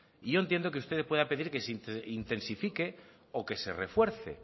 y yo entiendo que usted pueda pedir que se intensifique o que se refuerce